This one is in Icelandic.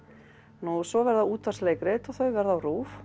nú svo verða útvarpsleikrit og þau verða á RÚV